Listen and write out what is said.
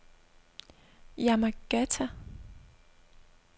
Yamagata